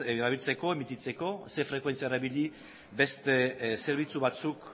erabiltzeko emititzeko ze frekuentzia erabili beste zerbitzu batzuk